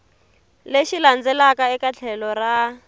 lexi landzelaka eka tlhelo ra